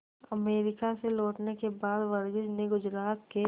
America से लौटने के बाद वर्गीज ने गुजरात के